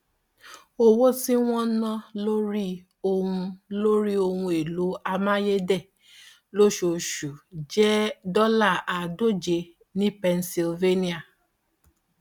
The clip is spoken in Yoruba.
owó tí wọn ń ná lórí ohun lórí ohun èlò amáyédẹ lóṣooṣù jẹ dọlà àádóje ní pennsylvania